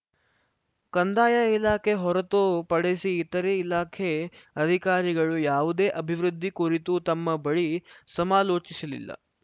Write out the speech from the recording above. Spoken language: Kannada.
ಕಂದಾಯ ಇಲಾಖೆ ಹೊರತು ಪಡಿಸಿ ಇತರೇ ಇಲಾಖೆ ಅಧಿಕಾರಿಗಳು ಯಾವುದೇ ಅಭಿವೃದ್ಧಿ ಕುರಿತು ತಮ್ಮ ಬಳಿ ಸಮಾಲೋಚಿಸಿಲಿಲ್ಲ